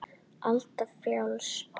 Alda frjáls.